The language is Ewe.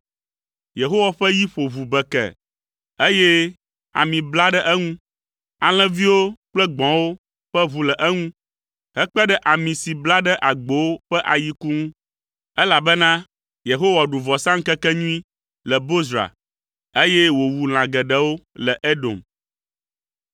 Yehowa ƒe yi ƒo ʋu bekee, eye ami bla ɖe eŋu. Alẽviwo kple gbɔ̃wo ƒe ʋu le eŋu, hekpe ɖe ami si bla ɖe agbowo ƒe ayiku ŋu, elabena Yehowa ɖu vɔsaŋkekenyui le Bozra, eye wòwu lã geɖewo le Edom.